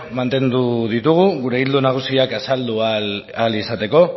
mantendu ditugu gure ildo nagusiak azaldu ahal izateko